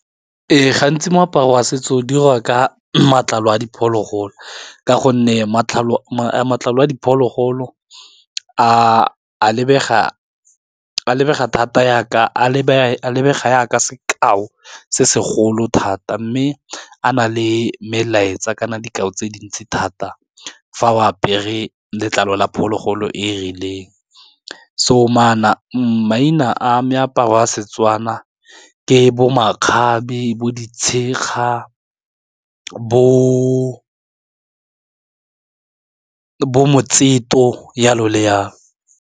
Ee, gantsi moaparo wa setso diriwa ka matlalo a diphologolo ka gonne matlalo a diphologolo a lebega thata yaka a lebega ka sekao se segolo thata, mme a na le melaetsa kana dikao tse dintsi thata fa o apere letlalo la phologolo e rileng so maina a me aparo wa setswana ke bo makgabe, bo ditshekga, bo jalo le jalo.